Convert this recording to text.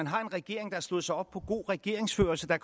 har en regering der slog sig op på god regeringsførelse da